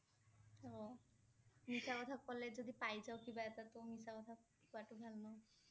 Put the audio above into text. মিছা কথা ক'লে যদি পাই যাওঁ কিবা এটা তহ মিছা কথা কোৱাটো ভাল ন